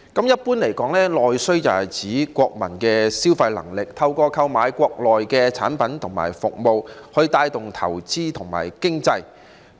一般而言，內需是指國民的消費能力，透過購買國內的產品和服務來帶動投資和經濟。